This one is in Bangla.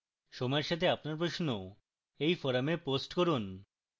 সময়ের সাথে আপনার প্রশ্ন এই forum post করুন